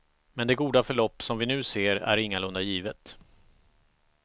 Men det goda förlopp som vi nu ser är ingalunda givet.